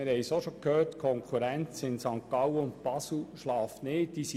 Die Konkurrenz in St. Gallen und Basel schläft nicht, wie wir gehört haben.